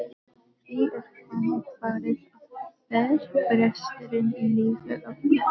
Því er þannig farið að þverbresturinn í lífi okkar